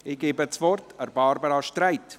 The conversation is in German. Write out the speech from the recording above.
Ich gebe das Wort Barbara Streit.